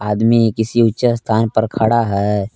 आदमी किसी ऊंचे स्थान पर खड़ा है।